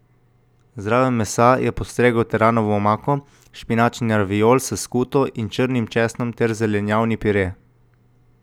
Zraven mesa je postregel teranovo omako, špinačni raviol s skuto in črnim česnom ter zelenjavni pire.